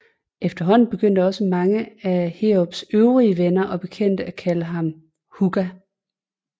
Efterhånden begyndte også mange af Heerups øvrige venner og bekendte at kalde ham Hugga